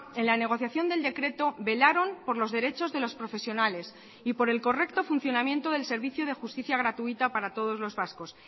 en la negociación del decreto velaron por los derechos de los profesionales y por el correcto funcionamiento del servicio de justicia gratuita para todos los vascos